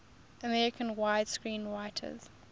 american screenwriters